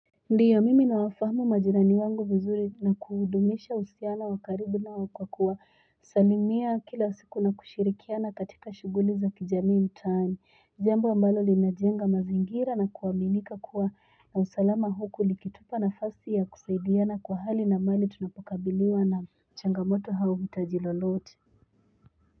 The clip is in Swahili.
Ndio mimi nawafahumu majiraniwangu vizuri na kuudumisha usiano wakaribu nao kwa kuwa salimia kila siku na kushirikiana katika shuguli za kijamii mtani Jambo ambalo linajenga mazingira na kuaminika kuwa na usalama hukuli kitupa na fasi ya kusaidiana kwa hali na mali tunapokabiliwa na changamoto hau hitaji lolote.